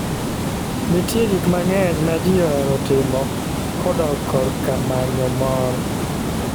Nitie gik mang'eny ma ji ohero timo kodok korka manyo mor.